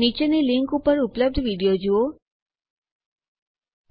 નીચેની લીંક ઉપર ઉપલબ્ધ વિડીયો જુઓ